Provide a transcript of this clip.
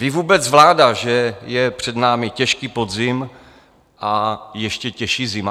Ví vůbec vláda, že je před námi těžký podzim a ještě těžší zima?